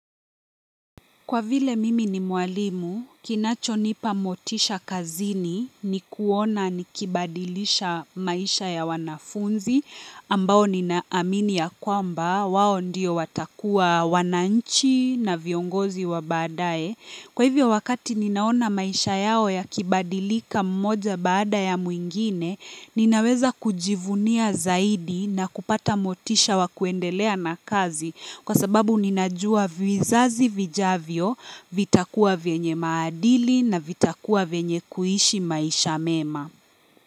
Kwa vile mimi ni mwalimu, kinachonipa motisha kazini ni kuona nikibadilisha maisha ya wanafunzi ambao ninaamini ya kwamba wao ndiyo watakuwa wananchi na viongozi wa baadae. Kwa hivyo wakati ninaona maisha yao yakibadilika mmoja baada ya mwingine, ninaweza kujivunia zaidi na kupata motisha wa kuendelea na kazi kwa sababu ninajua vizazi vijavyo, vitakuwa vyenye maadili na vitakuwa vyenye kuishi maisha mema.